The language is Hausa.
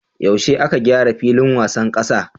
Yaushe aka gyara filin wasan kasa?